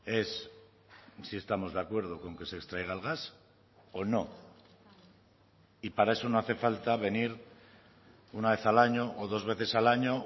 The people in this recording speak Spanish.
es si estamos de acuerdo con que se extraiga el gas o no y para eso no hace falta venir una vez al año o dos veces al año